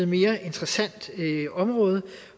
mere interessant område